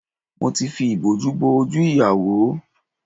Mo ti fi ìbòjú bo ojú ìyàwó